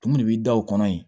Tun de b'i da o kɔnɔ yen